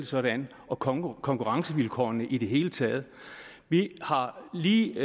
sådan og konkurrencevilkårene i det hele taget vi har lige